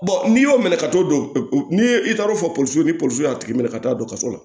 n'i y'o minɛ ka t'o dɔn n'i ye i taar'o fɔ polisi ni polisi y'a tigi minɛ ka taa dɔgɔtɔrɔso la